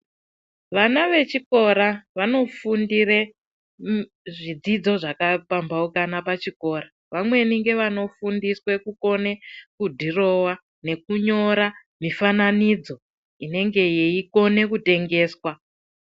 Vana vechikora vanofundire zvidzidzo zvakapambaukana pachikora. Vamweni ngevanofundiswe kukona kudhurova nekunyo mifananidzo inenge yeikone kutengeswa.